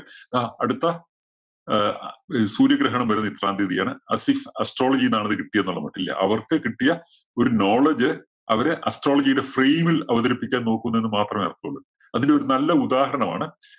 ആ അടുത്ത അഹ് ഈ സൂര്യഗ്രഹണം വരുന്നത് ഇത്രാം തീയ്യതിയാണ്. astrology ന്നാണ് അത് കിട്ടിയ എന്നുള്ള മട്ടില്‍ അവര്‍ക്ക് കിട്ടിയ ഒരു knowledge അവരെ astrology യില് frame ല്‍ അവതരിപ്പിക്കാന്‍ നോക്കുന്നേന്ന് മാത്രമേ അർഥമുള്ളൂ. അതിനൊരു നല്ല ഉദാഹരണമാണ്